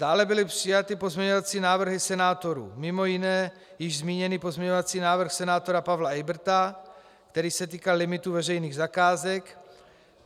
Dále byly přijaty pozměňovací návrhy senátorů, mimo jiné již zmíněný pozměňovací návrh senátora Pavla Eyberta, který se týkal limitů veřejných zakázek.